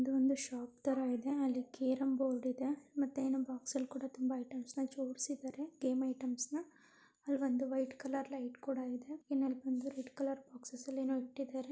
ಒಂದು ಶಾಪ್ ತರ ಇದೆ ಅಲ್ಲಿ ಕ್ಯರಂಬೋರ್ಡ್ ಇದೆ ಮತ್ತೆ ಏನೋ ಬಾಕ್ಸ್ ಅಲ್ಲಿ ಕೂಡ ತುಂಬಾ ಐಟೆಮ್ಸನ್ ಜೋಡಿಸಿದ್ದಾರೆ ಗೇಮ್ಸ್ ಐಟೆಮ್ಸ ನ್ ಅಲ್ಲಿ ಒಂದ್ ವೈಟ್ ಕಲರ್ ಲೈಟ್ ಕೂಡ ಇದೆ ಇನ್ನೊಅಲ್ಲಿಬಂದು ರೆಡ್ ಕಲರ್ ಬಾಕ್ಸ್ಸ್ ಏನೋ ಇಟ್ಟಿದ್ದಾರೆ.